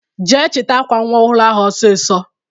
Jee chita akwa nwa ọhụrụ ahụ ọsisọ!